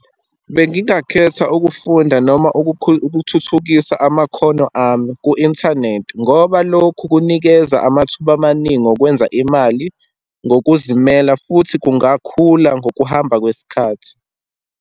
Bengingakhetha ukufunda, noma ukuthuthukisa amakhono ami ku-inthanethi, ngoba lokhu kunikeza amathuba amaningi okwenza imali ngokuzimela, futhi kungakhula ngokuhamba kwesikhathi.